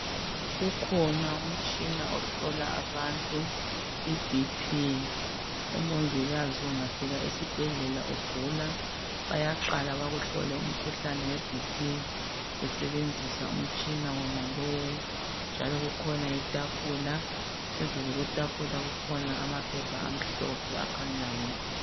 Ukhona umtshina ohlola abantu iBp, omongikazi ungafika esibhedlela ugula bayaqala bakuhlole umkhuhlane weBP besebenzisa umtshina wonalowu, njalo kukhona itafula phazulu kwetafula kukhona amaphepha amhlophe akhanyayo.